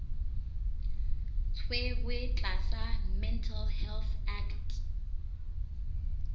tshwerwe tlasa mental health act